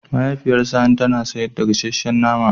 Mahaifiyar sani tana sayar da gasashen nama.